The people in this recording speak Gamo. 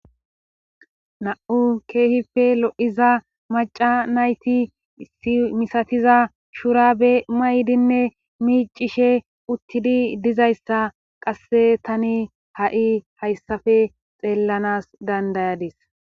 Na7u keehife lo7iza maca nayti misatiza shurabe maydinne miicishe uttidi dizayssa qasse tani ha7i hayssafe xeellanas dandayadis.